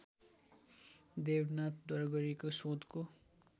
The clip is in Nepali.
देबनाथद्वारा गरिएको शोधको